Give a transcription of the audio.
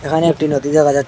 এখানে একটি নদী দেখা যা--